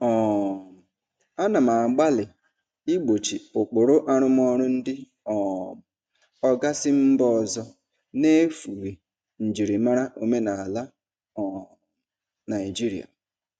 um Ana m agbalị igbochi ụkpụrụ arụmọrụ ndị um oga si mba ọzọ n'efughị njirimara omenala um Naịjirịa.